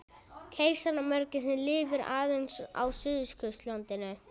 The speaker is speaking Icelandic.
Keisaramörgæsin lifir aðeins á Suðurskautslandinu.